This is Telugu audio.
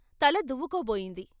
తల దువ్వుకోబోయింది.